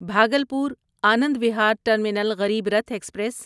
Bhagalpur Anand Vihar terminal Garib Rath express